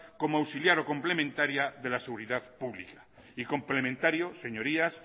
como auxiliar o complementaria de la seguridad pública y complementario señorías